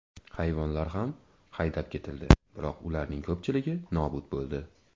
Hayvonlar ham haydab ketildi, biroq ularning ko‘pchiligi nobud bo‘ldi.